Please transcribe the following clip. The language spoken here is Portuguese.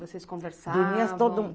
Vocês conversavam? Dormia todo